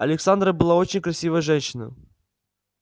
александра была очень красивая женщина